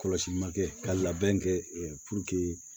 Kɔlɔsili ma kɛ ka labɛn kɛ